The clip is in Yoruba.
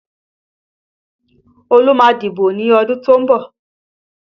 Olú má a dìbò ní ọdún tó ń bọ̀